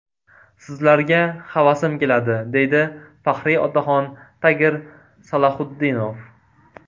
Sizlarga havasim keladi”, – deydi faxriy otaxon Tagir Salaxutdinov.